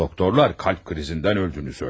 Doktorlar kalp krizindən öldüyünü söylədi.